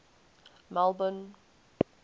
melbourne